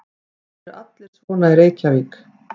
Eru allir svona í Reykjavík?